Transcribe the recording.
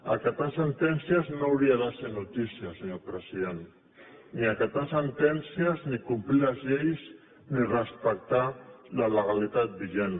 acatar sentències no hauria de ser notícia senyor president ni acatar sentències ni complir les lleis ni respectar la legalitat vigent